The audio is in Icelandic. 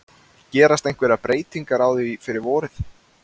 Gerast einhverjar breytingar á því fyrir vorið?